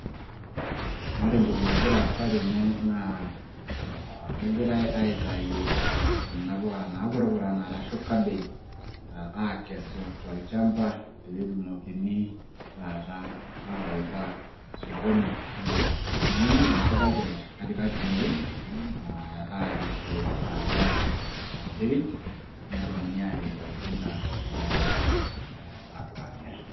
ore entoki nagira aasa tene naa kegirae aaitayu kuna puka naapurupurana, arashu, kabej, aikesu tolchampa, pee etumokini, taata aawaita sokoni. edung'uni empukai te katikati tede. aarishie taata. enetrit, nedumuni aapik oltinka neyae aapuo aamir.